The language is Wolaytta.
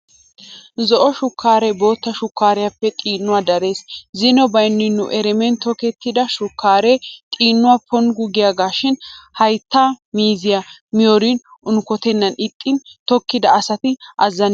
Zo"o shukkaare bootta shukkariyaappee xiinuwaa darees. Zino baynni nu eremen tokettida shukkaare xiinuwaa ponkku giyaagaashin hayttaa miizzay miyoorin unkkotennan ixxin tokkida asati azzanidosona.